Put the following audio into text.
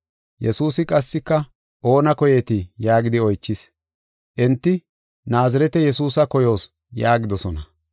Yesuusi qassika, “Oona koyeetii?” yaagidi oychis. Enti, “Naazirete Yesuusa koyoos” yaagidosona.